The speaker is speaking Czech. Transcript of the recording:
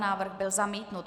Návrh byl zamítnut.